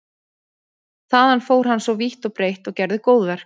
Þaðan fór hann svo vítt og breitt og gerði góðverk.